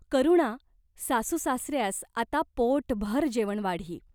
करुणा सासूसासऱ्यास आता पोटभर जेवण वाढी.